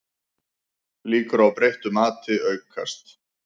Líkur á breyttu mati aukast